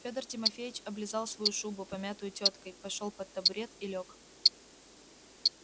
федор тимофеич облизал свою шубу помятую тёткой пошёл под табурет и лёг